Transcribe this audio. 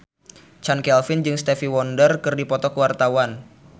Chand Kelvin jeung Stevie Wonder keur dipoto ku wartawan